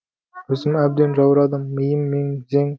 өзім әбден жаурадым миым мең зең